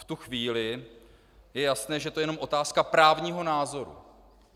V tu chvíli je jasné, že to je jenom otázka právního názoru.